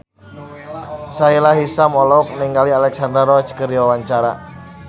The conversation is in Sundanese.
Sahila Hisyam olohok ningali Alexandra Roach keur diwawancara